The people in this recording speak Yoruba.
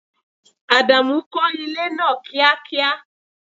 Ádámù kò ilé náà kíá kíá!